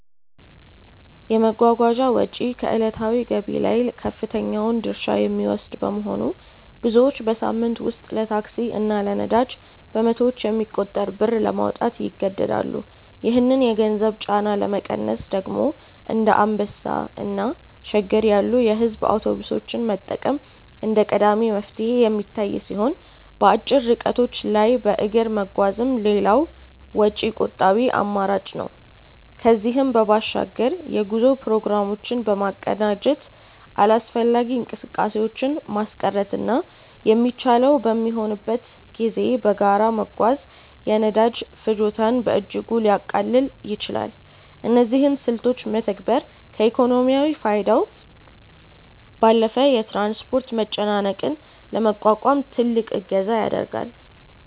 የመጓጓዣ ወጪ ከዕለታዊ ገቢ ላይ ከፍተኛውን ድርሻ የሚወስድ በመሆኑ፣ ብዙዎች በሳምንት ውስጥ ለታክሲ እና ለነዳጅ በመቶዎች የሚቆጠር ብር ለማውጣት ይገደዳሉ። ይህንን የገንዘብ ጫና ለመቀነስ ደግሞ እንደ አንበሳ እና ሸገር ያሉ የሕዝብ አውቶቡሶችን መጠቀም እንደ ቀዳሚ መፍትሄ የሚታይ ሲሆን፣ በአጭር ርቀቶች ላይ በእግር መጓዝም ሌላው ወጪ ቆጣቢ አማራጭ ነው። ከዚህም በባሻግር የጉዞ ፕሮግራሞችን በማቀናጀት አላስፈላጊ እንቅስቃሴዎችን ማስቀረትና የሚቻለው በሚሆንበት ጊዜ በጋራ መጓዝ የነዳጅ ፍጆታን በእጅጉ ሊያቃልል ይችላል። እነዚህን ስልቶች መተግበር ከኢኮኖሚያዊ ፋይዳው ባለፈ የትራንስፖርት መጨናነቅን ለመቋቋም ትልቅ እገዛ ያደርጋል።